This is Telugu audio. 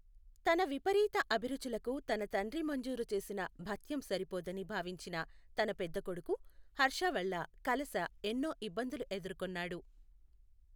తన విపరీత అభిరుచులకు తన తండ్రి మంజూరు చేసిన భత్యం సరిపోదని భావించిన తన పెద్ద కొడుకు హర్ష వల్ల కలశా ఎన్నో ఇబ్బందులు ఎదుర్కొన్నాడు.